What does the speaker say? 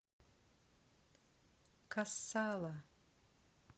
кассала